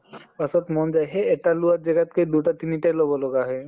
তাছত মন যায় সেই এটা লোৱা জেগাত কে দুটে তিনি টা লʼব লগা হয়।